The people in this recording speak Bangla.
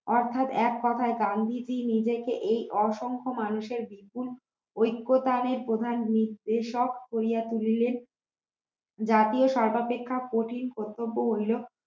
অর্থাৎ এক কথায় গান্ধীজি নিজেকেএই অসংখ্য মানুষের বিপুল ঐক্য দানের প্রধান নির্দেশক করিয়া তুলিলেন জাতীয় সর্বাপেক্ষা কঠিন কর্তব্য হইল